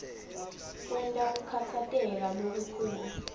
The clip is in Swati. kwenta kukhatsateka lokukhulu